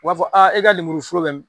U b'a fɔ a e ka lemuruforo bɛ min?